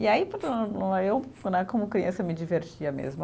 E aí, eu né como criança, eu me divertia mesmo.